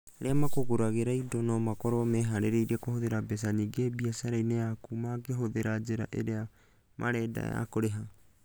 Arĩa magũgũragĩra indo no makorũo mehaarĩirie kũhũthĩra mbeca nyingĩ biacara-inĩ yaku mangĩhũthĩra njĩra ĩrĩa marenda ya kũrĩha.